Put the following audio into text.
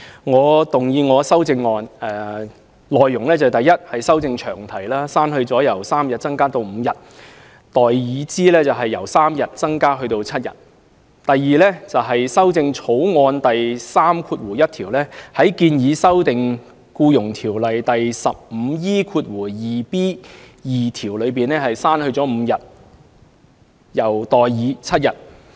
我動議我的修正案，第一是修正詳題，刪去"由3日增加至5日"而代以"由3日增加至7日"；第二是修訂《2018年僱傭條例草案》第31條，在建議修訂的《僱傭條例》第 15E2b 條中，刪去 "5 日"而代以 "7 日"。